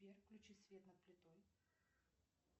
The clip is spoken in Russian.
сбер включи свет над плитой